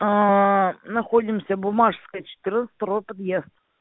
находимся буммашевская четырнадцать второй подъезд